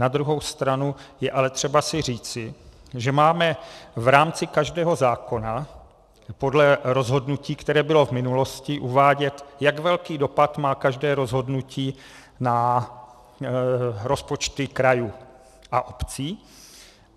Na druhou stranu je ale třeba si říci, že máme v rámci každého zákona podle rozhodnutí, které bylo v minulosti, uvádět, jak velký dopad má každé rozhodnutí na rozpočty krajů a obcí.